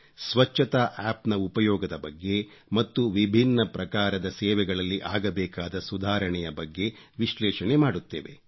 ಸ್ವಚ್ಚತಾ ಆಪ್ ನ ಉಪಯೋಗದ ಬಗ್ಗೆ ಮತ್ತು ವಿಭಿನ್ನ ಪ್ರಕಾರದ ಸೇವೆಗಳಲ್ಲಿ ಆಗಬೇಕಾದ ಸುಧಾರಣೆಯ ಬಗ್ಗೆ ವಿಶ್ಲೇಷಣೆ ಮಾಡುತ್ತೇವೆ